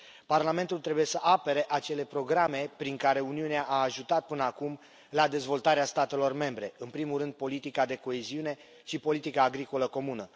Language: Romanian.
Parlamentul trebuie să apere acele programe prin care Uniunea a ajutat până acum la dezvoltarea statelor membre, în primul rând politica de coeziune și politica agricolă comună.